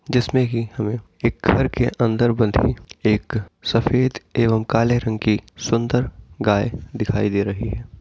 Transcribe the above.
जिसमें कि हमें एक घर के अंदर बंधी एक सफेद एवं काले रंग की सुंदर गाय दिखाई दे रही है।